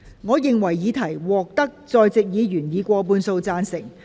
我認為議題獲得在席議員以過半數贊成。